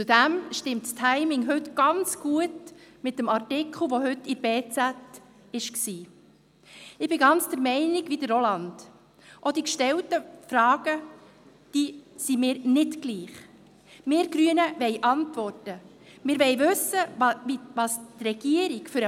Zudem stimmt das Timing heute ganz gut, weil gerade heute in der «Berner Zeitung (BZ)» ein Artikel zum Thema publiziert wurde.